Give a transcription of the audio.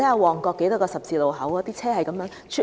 旺角有多個十字路口，每天車來車往。